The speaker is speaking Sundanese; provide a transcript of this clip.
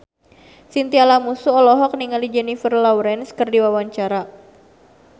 Chintya Lamusu olohok ningali Jennifer Lawrence keur diwawancara